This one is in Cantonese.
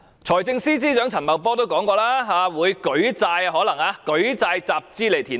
財政司司長陳茂波說過，可能會舉債集資填海。